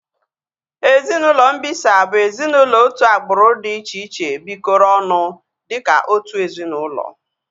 Ezinaụlọ mbisa bụ ezinaụlọ otu agbụrụ dị iche iche bikoro ọnụ dịka otu ezinaụlọ